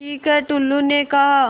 ठीक है टुल्लु ने कहा